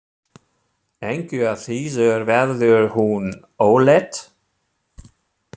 Engu að síður verður hún ólétt.